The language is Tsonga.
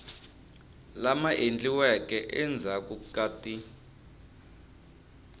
lama endliweke endzhaku ka ti